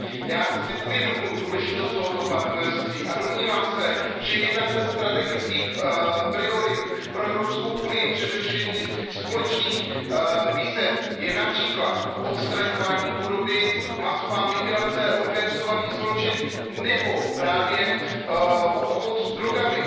Já si uvědomuji důležitost tohoto partnerství a domnívám se, že jedna ze strategických priorit pro Evropskou unii při řešení společných výzev je například odstraňování chudoby, masová migrace, organizovaný zločin nebo právě obchod s drogami.